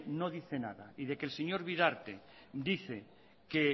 no dice nada y que el señor bidarte dice que